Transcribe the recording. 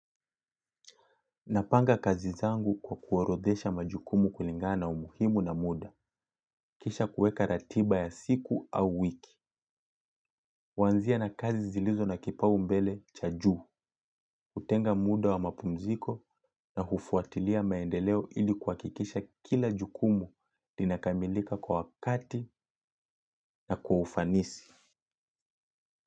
Napanga kazi zangu kwa kuorodhesha majukumu kulingana na umuhimu na muda. Kisha kuweka ratiba ya siku au wiki. Huanzia na kazi zilizo na kipaumbele cha juu. Hutenga muda wa mapumziko na hufuatilia maendeleo ili kuhakikisha kila jukumu lina kamilika kwa wakati na kwa ufanisi.